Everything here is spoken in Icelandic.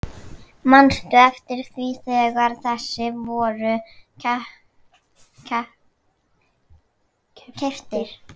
Manstu eftir því þegar þessir voru keyptir?